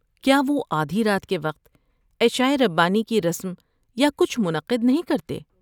کیا وہ آدھی رات کے وقت عشاء ربانی کی رسم یا کچھ منعقد نہیں کرتے؟